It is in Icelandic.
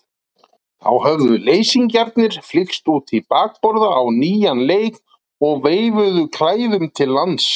Þá höfðu leysingjarnir flykkst út í bakborða á nýjan leik og veifuðu klæðum til lands.